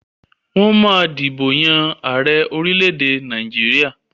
Wọ́n ma ń dìbò yàn ààrẹ orílẹ̀-èdè Nàìjíríà